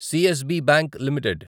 CSB bank limited